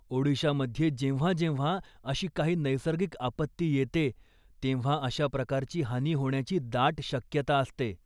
ओडिशामध्ये जेव्हांजेव्हां अशी काही नैसर्गिक आपत्ती येते, तेव्हा अशा प्रकारची हानी होण्याची दाट शक्यता असते.